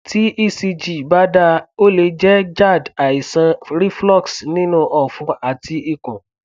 tí ecg bá dáa o lè jẹ gerd àìsàn reflux nínú ọfun àti ikun